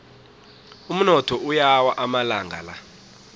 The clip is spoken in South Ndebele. umnotho uyawa amalanga la